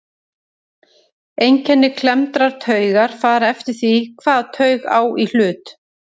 Einkenni klemmdrar taugar fara eftir því hvaða taug á í hlut.